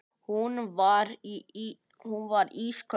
Hún var ísköld.